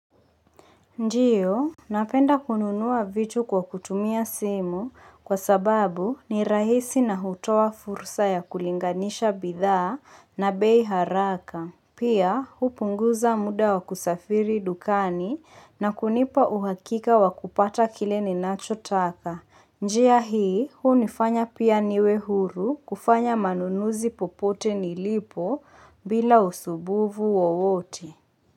Ndiyo, napenda kununua vitu kwa kutumia simu kwa sababu ni rahisi na hutoa fursa ya kulinganisha bidhaa na bei haraka. Pia, hupunguza muda wa kusafiri dukani na kunipa uhakika wa kupata kile ninacho taka. Njia hii, hunifanya pia niwe huru kufanya manunuzi popote nilipo bila usubuvu wowote.